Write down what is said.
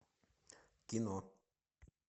кино